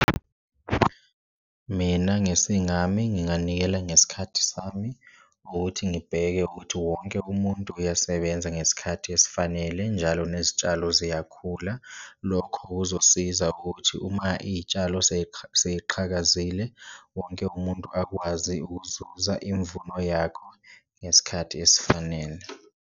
Mina ngesingami nginganikela ngesikhathi sami ngokuthi ngibheke ukuthi wonke umuntu uyasebenza ngesikhathi esifanele, njalo nezitshalo ziyakhula lokho kuzosiza ukuthi uma iyitshalo seyiqhakazile, wonke umuntu akwazi ukuzuza imvuno yakho ngesikhathi esifanele.